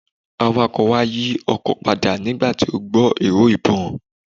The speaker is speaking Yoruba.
Awakọ̀ wa yí ọkọ̀ padà nígbà tí ó gbọ́ ìró ìbọn.